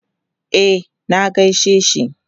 E, na gaishe shi.